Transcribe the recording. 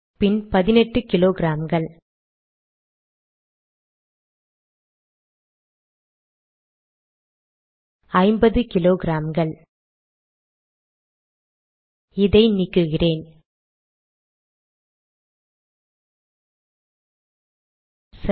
பின் பதினெட்டு கிலோகிராம்கள் ஐம்பது கிலோகிராம்கள் இதை நீக்குகிறேன் சரி